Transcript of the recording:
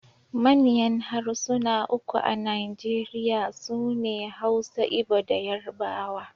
Manyan harsuna uku a Najeriya su ne Hausa, Igbo da Yarbawa.